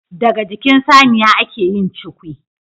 Daga jikin Saniya ake yin cukwi